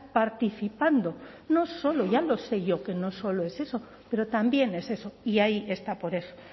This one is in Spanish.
participando no solo ya lo sé yo que no solo es eso pero también es eso y ahí está por eso